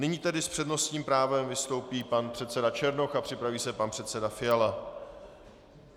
Nyní tedy s přednostním právem vystoupí pan předseda Černoch a připraví se pan předseda Fiala.